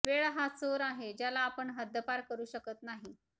वेळ हा चोर आहे ज्याला आपण हद्दपार करू शकत नाही